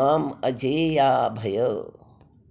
मामजेयाभय